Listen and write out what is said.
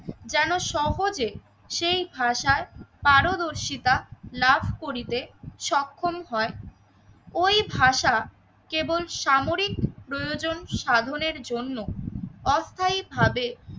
যেন সহজে সেই ভাষায় পারদর্শিতা লাভ করিতে সক্ষম হয়। ওই ভাষা কেবল সামরিক প্রয়োজন সাধনের জন্য অস্থায়ী ভাবে